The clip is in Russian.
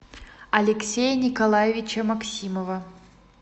алексея николаевича максимова